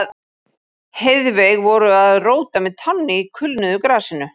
Heiðveig voru að róta með tánni í kulnuðu grasinu.